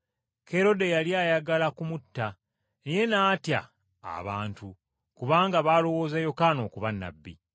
Kerode yali ayagala kumutta naye n’atya abantu kubanga baalowooza Yokaana okuba nnabbi.